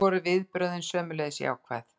Þar voru viðbrögðin sömuleiðis jákvæð.